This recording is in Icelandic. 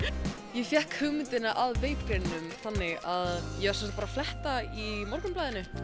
ég fékk hugmyndina að vape greininum þannig að fletta Mogganum